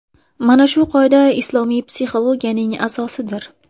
Mana shu qoida islomiy psixologiyaning asosidir.